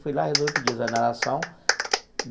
Fui lá, resolvi pedir exoneração.